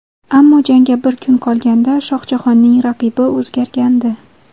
Ammo jangga bir kun qolganda Shohjahonning raqibi o‘zgargandi.